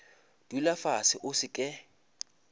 dula fase o se ke